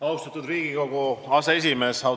Austatud Riigikogu aseesimees!